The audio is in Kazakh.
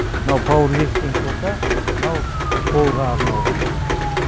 мынау пауэрлифтинг болса мынау қолға арналған